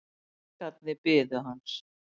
Feðgarnir biðu hans.